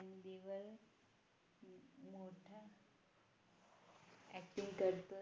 Acting करतो